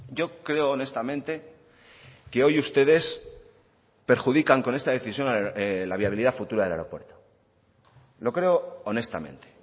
yo creo honestamente que hoy ustedes perjudican con esta decisión la viabilidad futura del aeropuerto lo creo honestamente